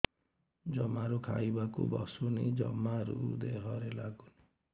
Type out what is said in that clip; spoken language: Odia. ଜମାରୁ ଖାଇବାକୁ ବସୁନି ଜମାରୁ ଦେହରେ ଲାଗୁନି